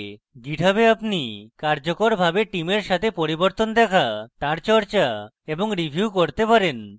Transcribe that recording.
github এ আপনি কার্যকরভাবে টিমের সাথে পরিবর্তন দেখা তার চর্চা এবং review করতে পারেন